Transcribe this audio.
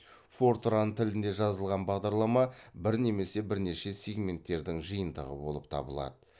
фортран тілінде жазылған бағдарлама бір немесе бірнеше сегменттердің жиынтығы болып табылады